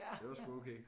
Det var sgu okay